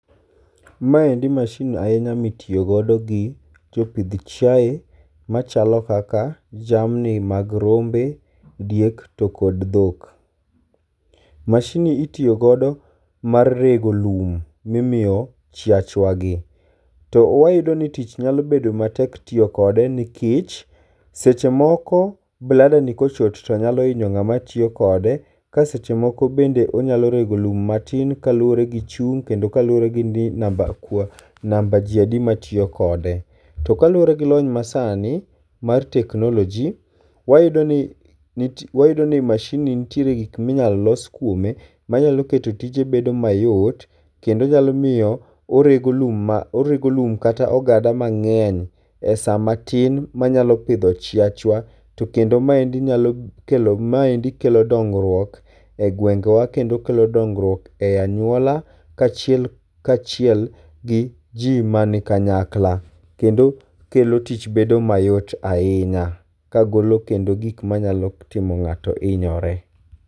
Maendi masin ahinya mitiyogodo gi jopidh chiae machalo kaka jamni mag rombe, diek to kod dhok. Masin ni itiyogodo mar rego lum mimiyo chiach wagi. To wayudo ni tich nyalobedo matek tiyo kode nikech seche moko blada ni kochot to nyalo hinyo ng'ama tiyo kode ka seche moko bende onyalo rego lum matin kaluwore gi chung' kendo kaluwere ni namba jia di matiyo kode. To kaluwore gi lony masani mar teknologi wayudo ni masin ni nitiere gik minyalo los kuome manyalo keto tije bedo mayot kendo nyalomiyo orego lum kata ogada mang'eny e sa matin manyalo pidho chiachwa to kendo maendi nyalo kelo maendi kelo dongruok e gwengewa kendo kelo dongruok e anyuala kachiel gi ji mani kanyakla kendo kendo kelo tich bedo mayot ahinya kagolo kendo gik machalo timo ng'ato hinyore.